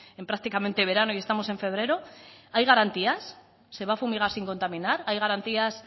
en prácticamente verano y estamos en febrero hay garantías se va a fumigar sin contaminar hay garantías